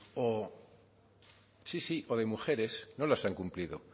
o sí sí de mujeres no las han cumplido